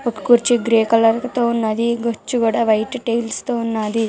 ఒక కుర్చీ grey colour లో ఉంది గుచ్చు కూడా వైట్ టైల్స్ తో వున్నది--